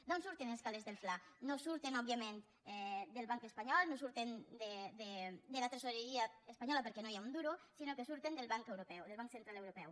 d’on surten els calers del fla no surten òbviament del banc espanyol no surten de la tresoreria espanyola perquè no hi ha un duro sinó que surten del banc europeu del banc central europeu